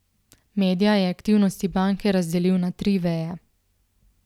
Medja je aktivnosti banke razdelil na tri veje.